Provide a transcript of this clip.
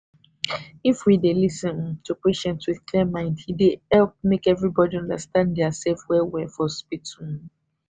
if we dey lis ten to patient with clear mind e dey help make everybodi understand theirself well well for hospital